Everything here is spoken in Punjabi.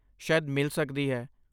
ਸ਼ਾਇਦ ਮਿਲ ਸਕਦੀ ਹੈ।